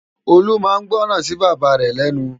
Olu má n gbòrán si Baba rè lènú